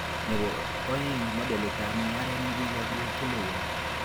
Nebo aeng, modelitab mugaret nekakilewen